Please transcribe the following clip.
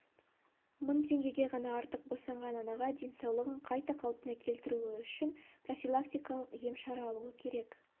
мың теңгеге ғана артық босанған анаға денсаулығын қайта қалпына келтіруі үшін профилилактикалық ем-шара алуы керек